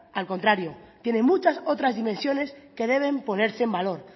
al contrario tiene muchas otras dimensiones que deben ponerse en valor